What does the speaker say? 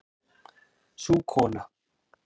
Sú kona